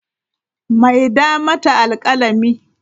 Maida mata alkalami!